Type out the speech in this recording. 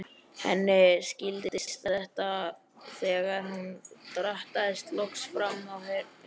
Henni skildist það þegar hún drattaðist loks fram, heyrði